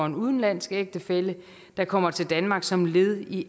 en udenlandsk ægtefælle der kommer til danmark som led i